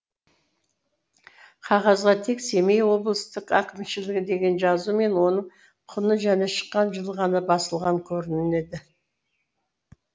қағазға тек семей облыстық әкімшілігі деген жазу мен оның құны және шыққан жылы ғана басылған көрінеді